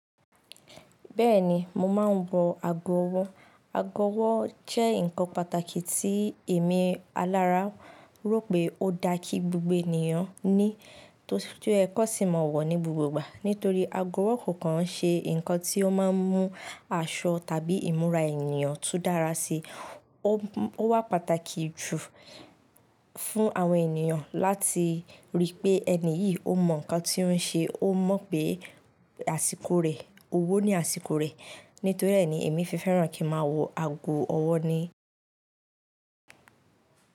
Bẹ́ẹ̀ni, mo máa ń wọ ago ọwọ́. Ago ọwọ́ jẹ́ nǹkan pàtàkì tí èmi alára rò pé ó da kí gbogbo ènìyàn ní, tó yẹ kọ sí mọ̀ọ́ wọ̀ ní gbogbo ìgbà. Nítorí ago ọwọ́ kò kan ń ṣe nǹkan tí ó máa ń mú aṣọ tàbí ìmúra ènìyàn tú dára sí i. Ó wà pàtàkì jù fún àwọn ènìyàn láti rí pé ẹni yìí ó mọ̀ nǹkan tí ó ń ṣe ó mọ̀ pé àsìkò rẹ̀, owó ní àsìkò rẹ̀. Nítorí rẹ̀ ni èmi fi fẹ́ràn kí máa wọ ago ọwọ́ ni.